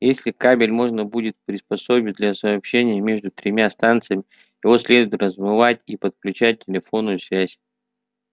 если кабель можно будет приспособить для сообщения между тремя станциями его следует разматывать и подключать телефонную связь